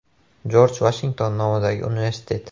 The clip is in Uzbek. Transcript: Jorj Vashington nomidagi universitet.